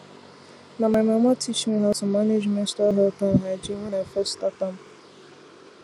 na my mama teach me how to manage menstrual health and hygiene when i first start am